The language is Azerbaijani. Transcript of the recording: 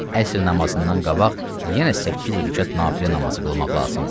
Əsr namazından qabaq yenə səkkiz rükət nafilə namazı qılmaq lazımdır.